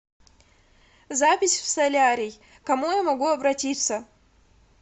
запись в солярий к кому я могу обратиться